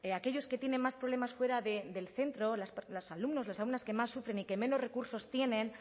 aquellos que tienen más problemas fuera del centro los alumnos las alumnas que más sufren y que menos recursos tienen